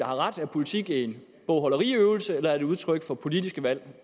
har ret er politik en bogholderiøvelse eller er det udtryk for politiske valg